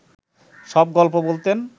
সব গল্প বলতেন